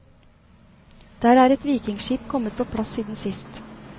Der er et vikingeskip kommet på plass siden sist.